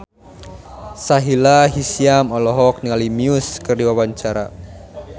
Sahila Hisyam olohok ningali Muse keur diwawancara